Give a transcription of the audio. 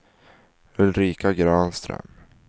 Ulrika Granström